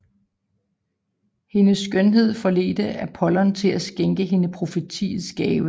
Hendes skønhed forledte Apollon til at skænke hende profetiens gave